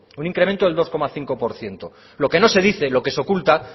un incremento del dos coma cinco por ciento lo que no se dice lo que se oculta